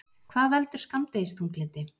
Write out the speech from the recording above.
Hvað veldur skammdegisþunglyndi?